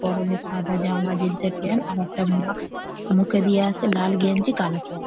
পরনে সাদা জামা জিন্স -এর প্যান্ট আর একটা মাক্স মুখেে দেওয়া আছে। লাল গেঞ্জি কালো প্যান্ট ।